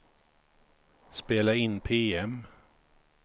spela in PM